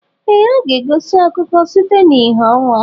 Ee ha e ga-egosi akụkọ site n'ìhè ọnwa.